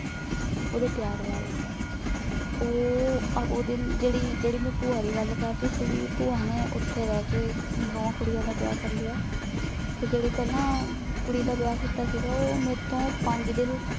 ਓਦੇ ਪ੍ਯਾਰ ਬਾਰੇ ਊ ਓਡੀ ਜੇੜ੍ਹੀ ਜੇੜ੍ਹੀ ਮੈਂ ਪੁਆ ਦੀ ਗਲ ਕਰ ਰੀ ਸੀ ਭੀ ਬੁਆ ਨੇ ਓਥੇ ਬੇਹ ਕੇ ਅਪਨੇ ਦੋਵਾਂ ਕੁੜੀਆਂ ਦਾ ਵਿਯਾਹ ਕਰ ਲਾਯਾ ਤੇ ਜੇਰੀ ਪੇਹ੍ਲਾਂ ਕੁੜੀ ਦਾ ਵਿਯਾਹ ਕੀਤਾ ਸੀਗਾ ਊ ਮੇਰੇ ਤੋਂ ਪੰਜ ਦਿਨ